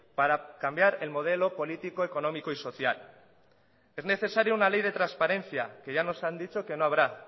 para cambiar el modelo político económico y social es necesario una ley de transparencia que ya nos han dicho que no habrá